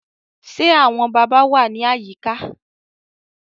Ṣé àwọn bàbá wà ní àyíká